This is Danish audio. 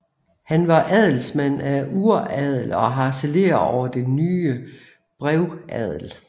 Han var adelsmand af uradel og harcelerer over den nye brevadel